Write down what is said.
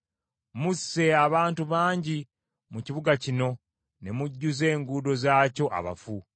Musse abantu bangi mu kibuga kino, ne mujjuza enguudo zaakyo abafu.